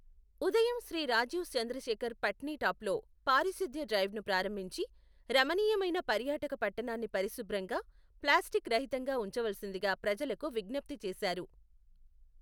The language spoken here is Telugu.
ఉదయం శ్రీ రాజీవ్ చంద్రశఖర్ పట్నిటాప్లో పారిశుద్ధ్య డ్రైవ్ను ప్రారంభించి, రమణీయమైన పర్యాటక పట్టణాన్ని పరిశుభ్రంగా, ప్లాస్టిక్ రహితంగా ఉంచవలసిందిగా ప్రజలకు విజ్ఞప్తి చేశారు.